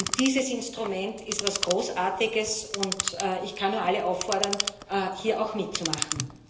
Denn dieses Instrument ist etwas Großartiges, und ich kann nur alle auffordern, hier auch mitzumachen.